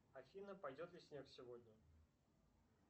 афина пойдет ли снег сегодня